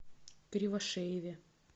кривошееве